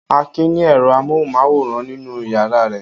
Akin ni ẹ̀rọ amóhùmáwòhán nínú ìyàrá rẹ̀?